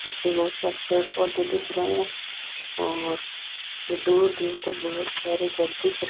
पीछे बहुत सारे पेड़ पौधे दिख रहे हैं और दूर-दूर तक बहुत सारे घर दिख रहे --